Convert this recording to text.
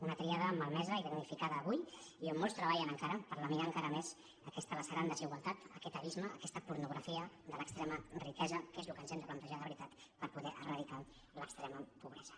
una tríada malmesa i damnificada avui i on molts treballen encara per laminar encara més aquesta lacerant desigualtat aquest abisme aquesta pornografia de l’extrema riquesa que és el que ens hem de plantejar de veritat per poder eradicar l’extrema pobresa